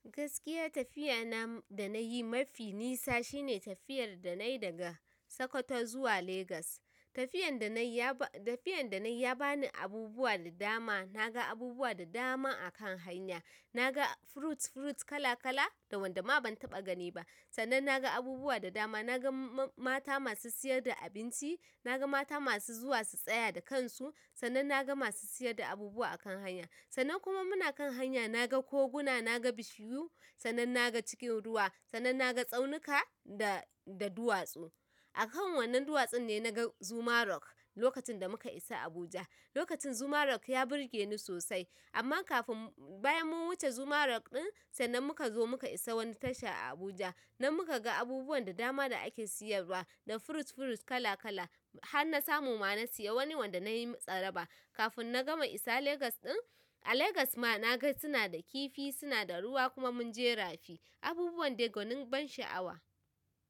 Gaskiya tafiya na da nayi mafi nisa shine tafiyar da nayi daga Sokoto zuwa Legas. Tafiyan da nayi ya ba ni abubuwa da dama. Naga abubuwa da dama akan hanya. Naga fruits fruits kala kala da wanda ma ban taɓa gani ba. Sannan naga abubuwa da dama. Nagan mata masu siyar da abinci. Nagan mata masu zuwa su tsaya da kansu. Sannan naga masu siyar da abubuwa akan hanya. Sannan kuma muna kan hanya naga koguna, naga bishiyu sannan naga cikin ruwa, sannan naga tsaunuka da duwatsu. Akan wannan duwatsun ne naga zuma rock lokacin da muka isa Abuja. Lokacin zuma rock ya burge ni sosai. Amma kafin bayan mun wuce zuma rock ɗin sannan muka zo muka isa wani tasha a Abuja. Nan muka ga abubuwan da dama da ake siyarwa da fruits fruits kala kala har na samu ma na siya wani wanda nayi tsaraba. Kafin na gama isa Legas ɗin, a Legas ma nagan suna da kifi, suna da ruwa kuma mun je rafi abubuwan da gwanin ban sha'awa.